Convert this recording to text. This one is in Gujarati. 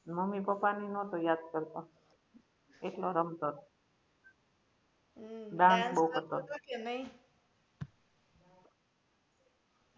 મમ્મી પપ્પા ને નતો યાદ કરતો એકલો રમતો તો dance બઉ કરતો તો